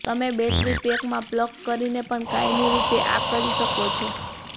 તમે બૅટરી પેકમાં પ્લગ કરીને પણ કાયમી રૂપે આ કરી શકો છો